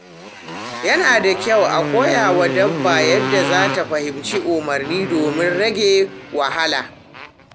Yana da kyau a koya wa dabba yadda za ta fahimci umarni domin rage wahala.